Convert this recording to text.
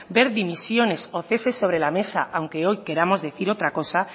ver dimisiones o ceses sobre la mesa aunque hoy queramos decir otra cosa